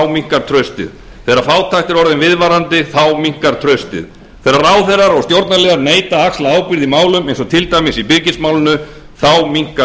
minnkar traustið þegar fátækt er orðin viðvarandi minnkar traustið þegar ráðherrar og stjórnarliðar neita að axla ábyrgð í málum eins og til dæmis í byrgismálinu minnkar